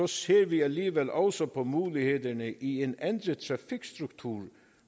ser vi alligevel også på mulighederne i en ændret trafikstruktur